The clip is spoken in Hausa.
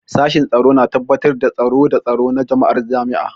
Sashen Tsaro na tabbatar da tsaro da tsaro na jama'ar jami'a.